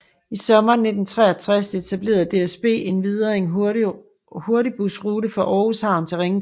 I sommeren 1963 etablerede DSB endvidere en hurtigbusrute fra Aarhus Havn til Ringkøbing